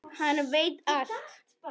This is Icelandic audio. Hann veit allt!